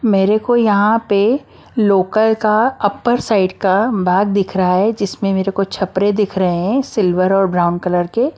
मेरे को यहां पे लोकल का अपर साइड का भाग दिख रहा है जिसमें मेरे को छपरे दिख रहे हैं सिल्वर और ब्राउन कलर के।